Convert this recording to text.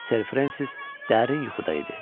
Ser Frensis dərin yuxuda idi.